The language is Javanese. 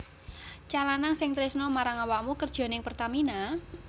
Cah lanang sing tresno marang awakmu kerjo ning Pertamina?